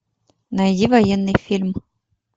найди военный фильм